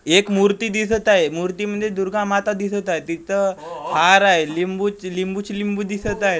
एक मूर्ती दिसत आहे मूर्तीमध्ये दुर्गा माता दिसत आहे तिथं हार आहे लिंबू च लिंबूची लिंबू दिसत आहेत एक--